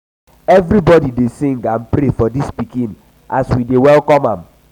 everybody um dey sing um and pray for dis pikin as we dey welcome am.